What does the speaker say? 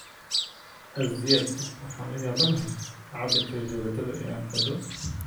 azziad, waxaan la yaabanahay cabbirka rajabeetada ee aan xidho